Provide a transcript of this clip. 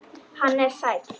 Hann er sæll.